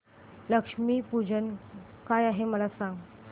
लक्ष्मी पूजन काय आहे मला सांग